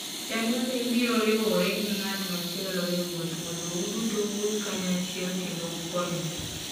Chan kaka ibiro riwore gi ng'at machielo e wuoth mondo uduto uwuoth kanyachiel kendo ukonyre.